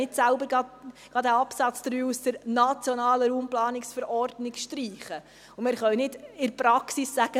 – Wir können ja diesen Absatz 3 nicht selbst aus der nationalen RPV streichen, und wir können in der Praxis nicht sagen: